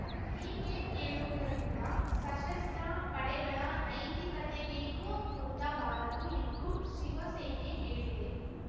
ಹೀಗೆ ಕೇಳುವುದರಿಂದ ಸಶಸ್ತ್ರ ಪಡೆಗಳ ನೈತಿಕತೆಗೇನೂ ಕುಂದ ಬಾರದು ಎಂದು ಶಿವಸೇನೆ ಹೇಳಿದೆ